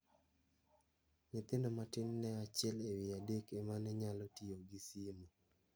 Nyithindo matin ne achiel ewi adek ema ne nyalo tio gi simo.